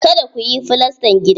Kada kuyi filastan gidan!